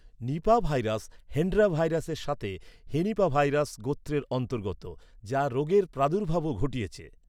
Nipah virus Hendra ভাইরাসের সাথে হেনিপাভাইরাস গোত্রের অন্তর্গত, যা রোগের প্রাদুর্ভাবও ঘটিয়েছে।